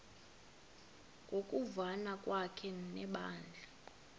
ngokuvana kwakhe nebandla